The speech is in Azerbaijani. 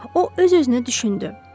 O öz-özünə düşündü.